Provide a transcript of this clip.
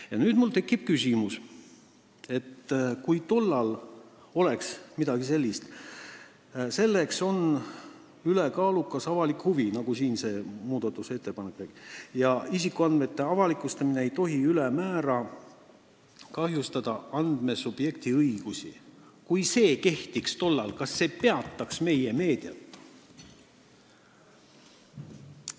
Ja mul tekib nüüd küsimus: kui see ülekaaluka avaliku huvi säte, nagu siin selles muudatusettepanekus on, et isikuandmete avalikustamine ei tohi ülemäära kahjustada andmesubjekti õigusi, kehtinuks tol ajal, kas see peatanuks meie meediat?